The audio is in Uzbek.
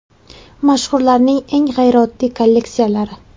Mashhurlarning eng g‘ayrioddiy kolleksiyalari.